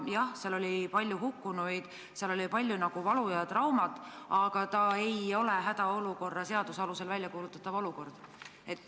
Jah, seal oli palju hukkunuid, seal oli palju valu ja traumat, aga tegu ei olnud hädaolukorra seaduse alusel väljakuulutatava eriolukorraga.